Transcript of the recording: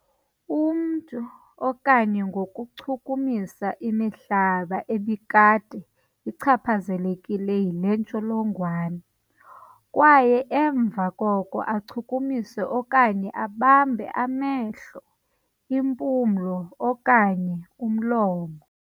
Umntu, okanye ngokuchukumisa imihlaba ebikade ichaphazelekile yile ntsholongwane kwaye emva koko achukumise okanye abambe amehlo, impumlo okanye umlomo.